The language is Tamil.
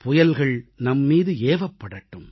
புயல்கள் நம்மீது ஏவப்படட்டும்